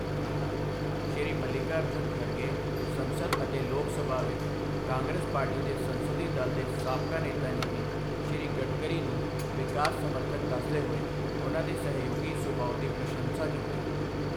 ਸ਼੍ਰੀ ਮਲਿੱਕਾਅਰਜੁਨ ਖੜਗੇ, ਸੰਸਦ ਅਤੇ ਲੋਕ ਸਭਾ ਵਿੱਚ ਕਾਂਗਰਸ ਪਾਰਟੀ ਦੇ ਸੰਸਦੀ ਦਲ ਦੇ ਸਾਬਕਾ ਨੇਤਾ ਨੇ ਵੀ, ਸ਼੍ਰੀ ਗਡਕਰੀ ਨੂੰ ਵਿਕਾਸ ਸਮਰਥਕ ਦੱਸਦੇ ਹੋਏ, ਉਨ੍ਹਾਂ ਦੇ ਸਹਿਯੋਗੀ ਸੁਭਾਅ ਦੀ ਪ੍ਰਸ਼ੰਸਾ ਕੀਤੀ।